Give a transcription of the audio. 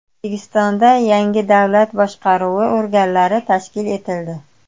O‘zbekistonda yangi davlat boshqaruvi organlari tashkil etildi.